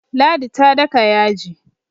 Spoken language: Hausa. ladi ta daka yaji